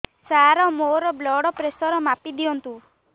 ସାର ମୋର blood pressure ମାପି ଦିଅନ୍ତୁ